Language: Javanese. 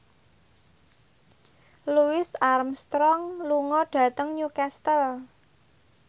Louis Armstrong lunga dhateng Newcastle